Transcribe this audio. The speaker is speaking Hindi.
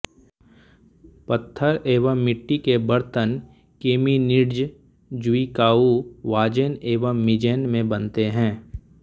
पत्थर एवं मिट्टी के बर्तन केमिनिट्ज ज्विकाऊ वाजेन एवं मिजेन में बनते हैं